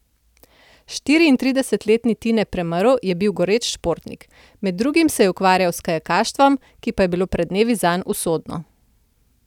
Štiriintridesetletni Tine Premrl je bil goreč športnik, med drugim se je ukvarjal s kajakaštvom, ki pa je bilo pred dnevi zanj usodno.